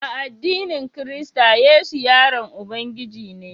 A addinin kirista Yesu yaron Ubangiji ne